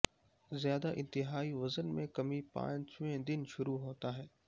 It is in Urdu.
زیادہ انتہائی وزن میں کمی پانچویں دن شروع ہوتا ہے